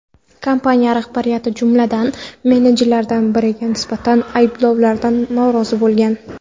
Kompaniya rahbariyati, jumladan, menejerlardan biriga nisbatan ayblovlardan norozi bo‘lgan.